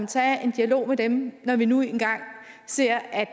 tage en dialog med dem når vi nu engang ser at